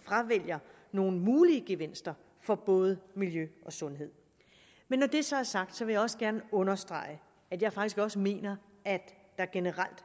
fravælger nogle mulige gevinster for både miljø og sundhed når det så er sagt vil jeg også gerne understrege at jeg faktisk også mener at der generelt